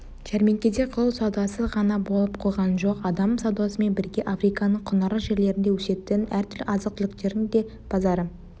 жәрмеңкеде құл саудасы ғана болып қойған жоқ адам саудасымен бірге африканың құнарлы жерлерінде өсетін әртүрлі азық-түліктердің де базары